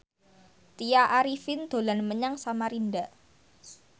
Tya Arifin dolan menyang Samarinda